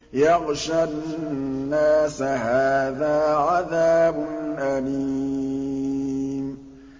يَغْشَى النَّاسَ ۖ هَٰذَا عَذَابٌ أَلِيمٌ